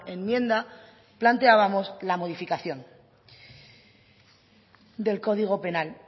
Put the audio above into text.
enmienda planteábamos la modificación del código penal